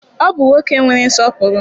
Ọ bụ nwoke nwere nsọpụrụ.